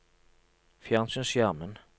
fjernsynsskjermen